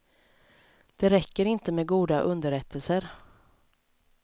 Det räcker inte med goda underrättelser.